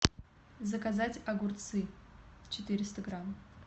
заказать огурцы четыреста грамм